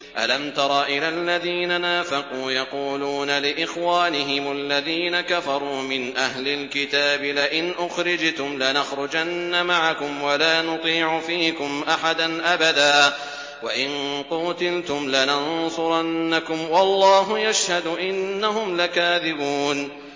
۞ أَلَمْ تَرَ إِلَى الَّذِينَ نَافَقُوا يَقُولُونَ لِإِخْوَانِهِمُ الَّذِينَ كَفَرُوا مِنْ أَهْلِ الْكِتَابِ لَئِنْ أُخْرِجْتُمْ لَنَخْرُجَنَّ مَعَكُمْ وَلَا نُطِيعُ فِيكُمْ أَحَدًا أَبَدًا وَإِن قُوتِلْتُمْ لَنَنصُرَنَّكُمْ وَاللَّهُ يَشْهَدُ إِنَّهُمْ لَكَاذِبُونَ